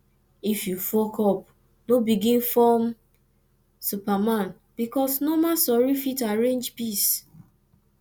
if yu fuckup no begin form superman bikos normal sori fit arrange peace